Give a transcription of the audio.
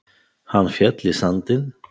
Hann féll í sandinn.